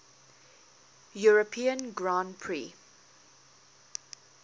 european grand prix